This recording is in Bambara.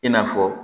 I n'a fɔ